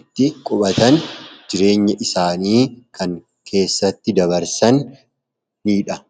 itti qubatan jireenya isaanii kan keessatti dabarsanidha.